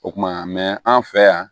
O kuma an fɛ yan